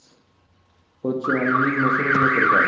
করছে মানে নিম্ন শ্রেণীর লোকের কাজ।